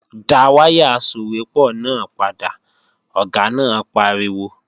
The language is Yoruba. Dá wáyà asòwépọ̀ náà padà, Ọ̀gá náà pariwo!